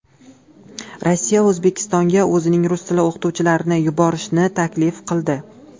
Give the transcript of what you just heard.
Rossiya O‘zbekistonga o‘zining rus tili o‘qituvchilarini yuborishni taklif qildi.